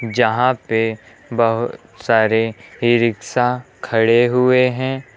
जहां पे बहुत सारे ई रिक्शा खड़े हुए हैं।